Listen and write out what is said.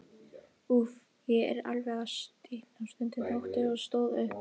Úff, ég er alveg að stikna stundi Tóti og stóð upp.